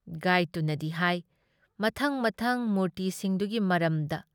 ꯒꯥꯏꯗꯇꯨꯅꯗꯤ ꯍꯥꯏ ꯃꯊꯪ-ꯃꯊꯪ ꯃꯨꯔꯇꯤꯁꯤꯡꯗꯨꯒꯤ ꯃꯔꯝꯗ ꯫